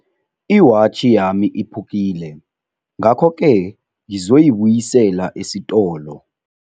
Iwatjhi yami iphukile, ngakhoke ngizoyibuyisela esitolo.